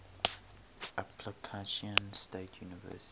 appalachian state university